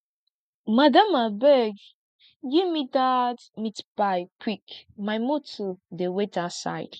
madam abeg gimme dat meat pie quick my motor dey wait outside